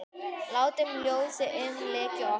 Látum ljósið umlykja okkur.